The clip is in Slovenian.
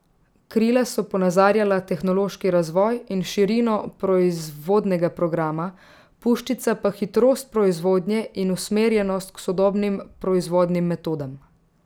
Krila so ponazarjala tehnološki razvoj in širino proizvodnega programa, puščica pa hitrost proizvodnje in usmerjenost k sodobnim proizvodnim metodam.